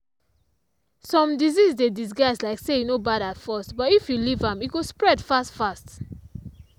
some disease dey disguise like say e no bad at first but if you leave am e go spead fast fast.